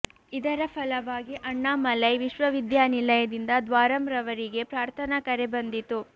ಇದರ ಫಲವಾಗಿ ಅಣ್ಣಾಮಲೈ ವಿಶ್ವವಿದ್ಯಾನಿಲಯ ದಿಂದ ದ್ವಾರಂರವರಿಗೆ ಪ್ರಾರ್ಥನಾ ಕರೆ ಬಂದಿತು